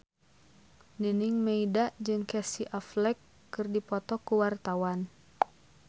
Nining Meida jeung Casey Affleck keur dipoto ku wartawan